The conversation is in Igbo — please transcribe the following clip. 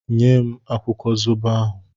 Nye m akwụkwọ zobo ahụ!